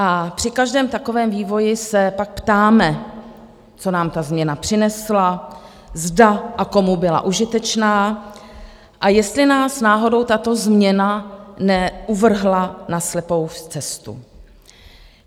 A při každém takovém vývoji se pak ptáme, co nám ta změna přinesla, zda a komu byla užitečná, a jestli nás náhodou tato změna neuvrhla na slepou cestu.